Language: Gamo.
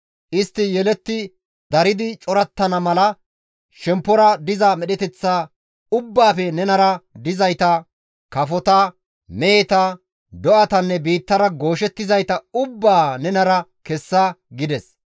Istti yeletti daridi corattana mala shemppora diza medheteththa ubbaafe nenara dizayta, kafota, meheta, do7atanne biittara gooshettizayta ubbaa nenara kessa» gides.